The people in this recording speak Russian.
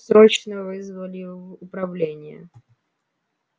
срочно вызвали в управление